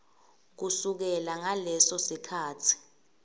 kusukela ngaleso sikhatsi